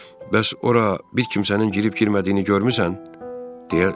Bəs ora bir kimsənin girib-girmədiyini görmüsən?